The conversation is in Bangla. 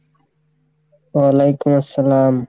ওয়ালাইকুম আসসালাম।